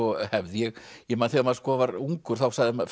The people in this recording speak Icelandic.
ég ég man þegar maður var ungur þá fussaði maður